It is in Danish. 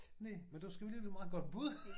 Næ men det sgu alligevel et meget godt bud